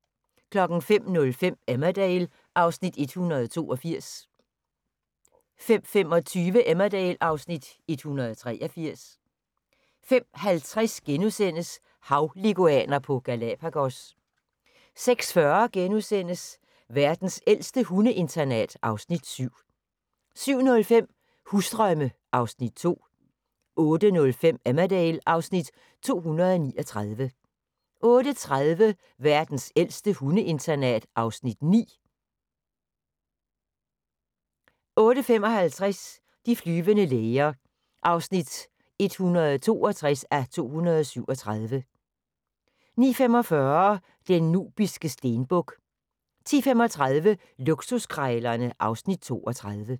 05:05: Emmerdale (Afs. 182) 05:25: Emmerdale (Afs. 183) 05:50: Havleguaner på Galapagos * 06:40: Verdens ældste hundeinternat (Afs. 7)* 07:05: Husdrømme (Afs. 2) 08:05: Emmerdale (Afs. 239) 08:30: Verdens ældste hundeinternat (Afs. 9) 08:55: De flyvende læger (162:237) 09:45: Den nubiske stenbuk 10:35: Luksuskrejlerne (Afs. 32)